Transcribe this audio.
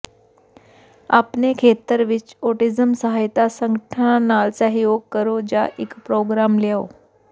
ਆਪਣੇ ਖੇਤਰ ਵਿੱਚ ਔਟਿਜ਼ਮ ਸਹਾਇਤਾ ਸੰਗਠਨਾਂ ਨਾਲ ਸਹਿਯੋਗ ਕਰੋ ਜਾਂ ਇਕ ਪ੍ਰੋਗਰਾਮ ਲਿਆਓ